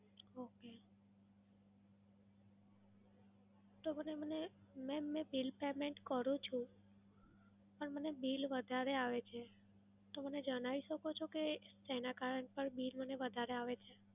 okay. તો મને મને mam મે bill payment કરું છું, પણ મને bill વધારે આવે છે. તો મને જણાવી શકો છો કે શેનાં કારણ પર bill મને વધારે આવે છે?